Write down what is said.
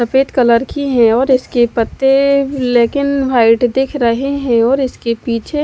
सफेद कलर की है और इसके पत्ते लेकिन व्हाइट दिख रहे है और इसके पीछे--